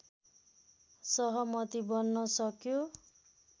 सहमति बन्न सक्यो